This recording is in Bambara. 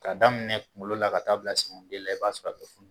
Ka daminɛ kunkolo la ka t'a bila senkɔniden la i b'a sɔrɔ funu